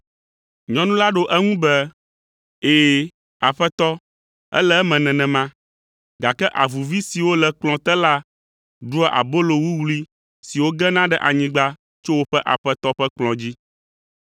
Nyɔnu la ɖo eŋu be, “Ɛ̃, Aƒetɔ, ele eme nenema, gake avuvi siwo le kplɔ̃ te la ɖua abolo wuwlui siwo gena ɖe anyigba tso woƒe aƒetɔ ƒe kplɔ̃ dzi.”